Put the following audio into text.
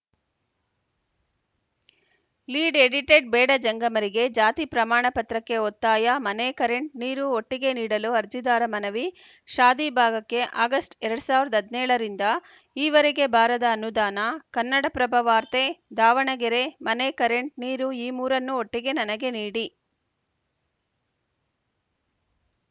lead edited ಬೇಡ ಜಂಗಮರಿಗೆ ಜಾತಿ ಪ್ರಮಾಣ ಪತ್ರಕ್ಕೆ ಒತ್ತಾಯ ಮನೆ ಕರೆಂಟ್‌ ನೀರು ಒಟ್ಟಿಗೆ ನೀಡಲು ಅರ್ಜಿದಾರ ಮನವಿ ಶಾದಿ ಭಾಗಕ್ಕೆ ಆಗಸ್ಟ್‌ ಎರಡ್ ಸಾವಿರದ ಹದಿನೇಳ ರಿಂದ ಈವರೆಗೆ ಬಾರದ ಅನುದಾನ ಕನ್ನಡಪ್ರಭ ವಾರ್ತೆ ದಾವಣಗೆರೆ ಮನೆ ಕರೆಂಟ್‌ ನೀರು ಈ ಮೂರನ್ನೂ ಒಟ್ಟಿಗೆ ನನಗೆ ನೀಡಿ